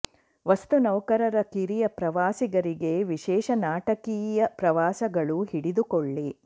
ವಸ್ತು ನೌಕರರ ಕಿರಿಯ ಪ್ರವಾಸಿಗರಿಗೆ ವಿಶೇಷ ನಾಟಕೀಯ ಪ್ರವಾಸಗಳು ಹಿಡಿದುಕೊಳ್ಳಿ